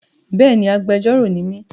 Béèni, agbẹjọ́rọ̀ ni mí.